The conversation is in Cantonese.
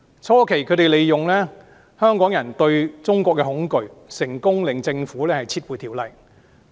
初期，他們利用香港人對中國的恐懼，成功令政府撤回《條例草案》。